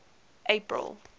april